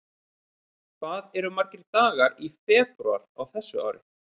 Hvað eru margir dagar í febrúar á þessu ári?